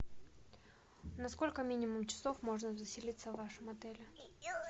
на сколько минимум часов можно заселиться в вашем отеле